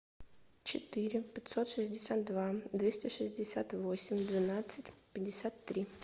четыре пятьсот шестьдесят два двести шестьдесят восемь двенадцать пятьдесят три